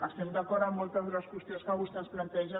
estem d’acord amb moltes de les qüestions que vostè ens planteja